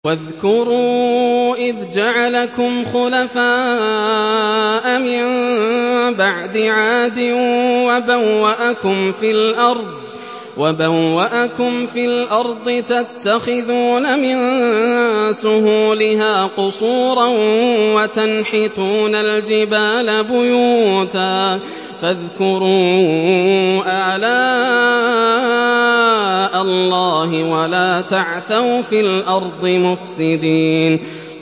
وَاذْكُرُوا إِذْ جَعَلَكُمْ خُلَفَاءَ مِن بَعْدِ عَادٍ وَبَوَّأَكُمْ فِي الْأَرْضِ تَتَّخِذُونَ مِن سُهُولِهَا قُصُورًا وَتَنْحِتُونَ الْجِبَالَ بُيُوتًا ۖ فَاذْكُرُوا آلَاءَ اللَّهِ وَلَا تَعْثَوْا فِي الْأَرْضِ مُفْسِدِينَ